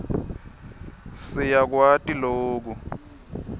si yakwati loku